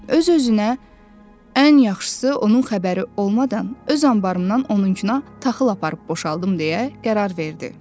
Öz-özünə ən yaxşısı onun xəbəri olmadan öz anbarımdan onunkuna taxıl aparıb boşaldım deyə qərar verdi.